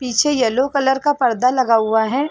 पीछे yellow colour का पर्दा लगा हुआ है।